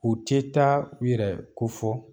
U tɛ taa u yɛrɛ ko fɔ